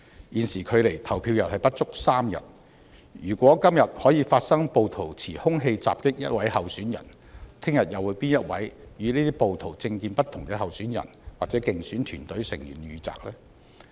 現時距離投票不足3天，如果今天可以發生暴徒持兇器襲擊候選人，明天會否有與暴徒政見不同的候選人或競選團隊成員遇襲？